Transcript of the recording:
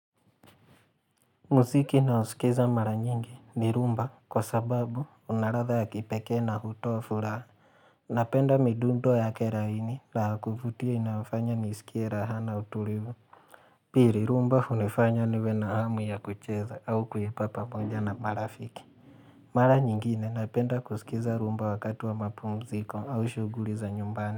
Muziki na usikiza mara nyingi ni rumba kwa sababu unaradha ya kipekee na hutoa furaha. Napenda midundo yake rahini kufutia inafanya nisikie rahana utulivu. Piri rumba unifanya niwe na hamu ya kucheza au kuipa pamoja na marafiki. Mara nyingine napenda kusikiza rumba wakati wa mapu mziko au shuguli za nyumbani.